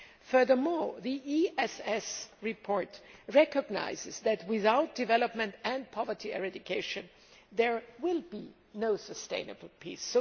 Furthermore, the ESS report recognises that without development and poverty eradication, there will be no sustainable peace.